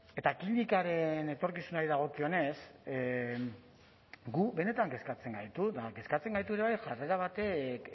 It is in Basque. eta klinikaren etorkizunari dagokionez gu benetan kezkatzen gaitu eta kezkatzen gaitu ere bai jarrera batek